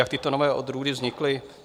Jak tyto nové odrůdy vznikly?